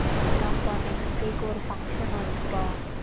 அதான் பா next week ஒரு function வருது பா.